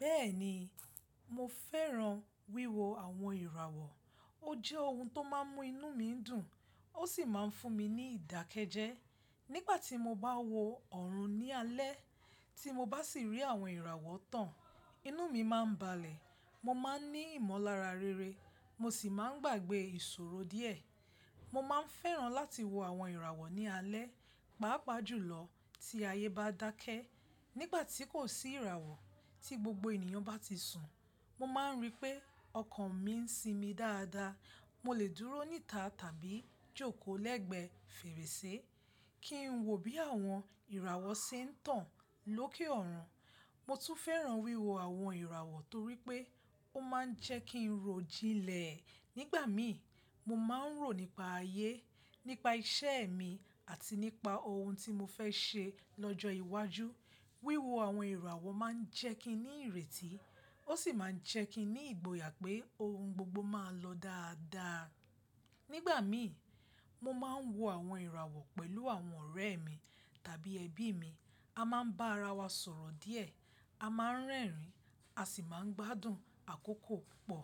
Bẹ́ẹ̀ni, mo fẹ́ran wíwo àwon ìràwọ̀. Ó jẹ́ oun tó máa ń mú inú mi dùn ó sì máa ń fún mi ní ìdákẹ́jẹ́. Nígbà tí mo bá wo ọ̀run ní alẹ́, tí mo bá sì rí àwọn ìràwọ̀ tán, inú mi máa ń balẹ̀. Mo máa ń ní ìmọ̀lára rere mo sì máa ń gbàgbẹ́ ìṣòro díẹ̀. Mo máa ń fẹ́ran láti wo àwọn ìràwọ̀ ní alẹ́, pàápàá jùlọ tí ayé bá dákẹ́. Nígbà tí kò sí ìràwọ̀, tí gbogbo ènìyàn bá ti sùn, mo máa ń rí pé ọkàn mi ń sinmi dáadáa. Mo lè dúró níta tàbí jókòó lẹ́gbẹ̀ẹ́ fèrèsé kí n wo bí àwọn ìràwọ̀ ṣe ń tán lókè ọ̀run. Mo tún fẹ́ran wíwo àwọn ìràwọ̀ torí pé ó máa ń jẹ́ kí n rò jinlẹ̀. Nígbà mii mo má n ro nipa ayé, nipa iṣẹ mii àti nípa ohun ti mo fẹ ṣe ni ọjọ iwájú. Wíwo àwọn ìràwọ̀ máa ń jẹ́ kí n ní ìrètí ó sì máa ń jẹ́ kí n ní ìgboyà pé oun gbogbo máa lọ dáadáa. Nígbà mí, mo máa ń wo àwọn ìràwọ̀ pẹ̀lú àwọn ọ̀rẹ́ mi tàbí ẹbí mi. A máa ń bá ara wa sọ̀rọ̀ díẹ̀, a máa ń rẹ́rìn a sì máa ń gbádùn àkókò púpọ̀.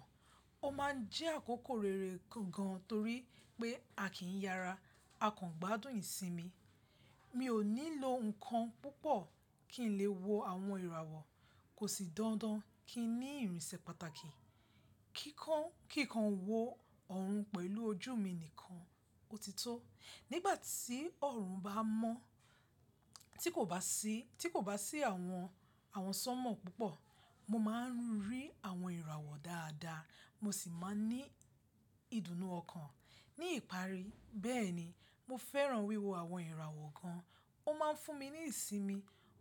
Ó máa ń jẹ́ àkókò rere gan-an torí pé a kì í yara, a kàn gbádùn ìsinmi. Mi ò ní lo ǹkan púpọ̀ kí n lè wo àwọn ìràwọ̀. Kò sì dandan kí n ní ìrìnsẹ̀ pàtàkì. Kíkán-kí n kan wo ọ̀run pẹ̀lú ojú mi nìkan, ó ti tó. Nígbà tí ọ̀run bá mọ́, tí kò bá sí- tí kò bá sí àwọn-àwọn sánmọ̀ púpọ̀, mo máa ń rí àwọn ìràwọ̀ dáadáa mo sì máa ń ní ìdùnnú ọkàn. Ni ipari bẹẹni mo fẹràn wíwo awọn irawọ gan. Ó máa ń fún mi ní ìsinmi,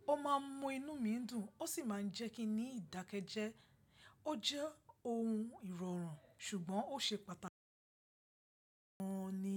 ó máa ń mú inú mi dùn ó sì máa ń jẹ́ kí n ní ìdákẹ́jẹ́. Ó jẹ́ oun ìrọ̀rùn ṣùgbọ́n ó ṣe pàtàkì gan ni.